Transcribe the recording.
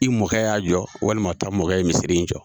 I mɔkɛ y'a jɔ walima mɔ ta mɔkɛ ye misiri in jɔ.